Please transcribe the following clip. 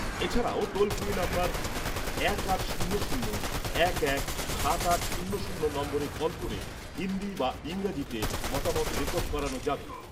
এছাড়াও toll free number এক আট শূন্য শূন্য এক এক সাত আট শূন্য শূন্য নম্বরে কল করে হিন্দি বা ইংরাজিতে মতামত রেকর্ড করানো যাবে।